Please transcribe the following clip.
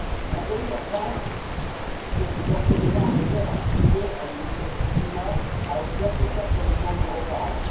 Mon pays la France s'est d'ores et déjà engagé à participer à l'initiative PRIMA à hauteur de 4 millions d'euros par an.